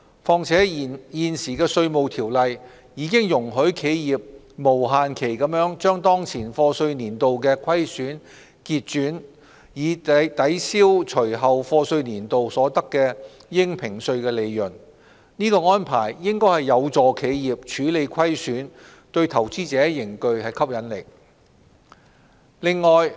況且現時《稅務條例》已容許企業無限期把當前課稅年度的虧損結轉，以抵銷隨後課稅年度所得的應評稅利潤，此安排應有助企業處理虧損，對投資者仍具吸引力。